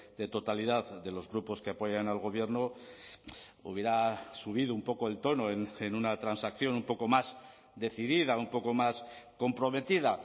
de totalidad de los grupos que apoyan al gobierno hubiera subido un poco el tono en una transacción un poco más decidida un poco más comprometida